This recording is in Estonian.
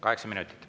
Kaheksa minutit.